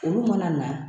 Olu mana na